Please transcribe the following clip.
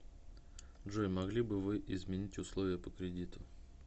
джой могли бы вы изменить условия по кредиту